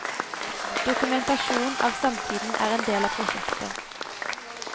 Dokumentasjon av samtiden er en del av prosjektet.